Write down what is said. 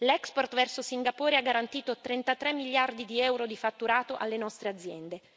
L'export verso Singapore ha garantito 33 miliardi di euro di fatturato alle nostre aziende.